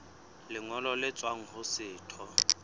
lengolo le tswang ho setho